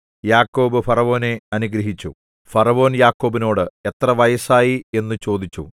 യാക്കോബ് ഫറവോനെ അനുഗ്രഹിച്ചു ഫറവോൻ യാക്കോബിനോട് എത്ര വയസ്സായി എന്നു ചോദിച്ചു